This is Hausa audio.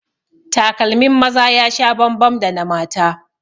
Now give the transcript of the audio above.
Takalmin maza ya sha bambam da na mata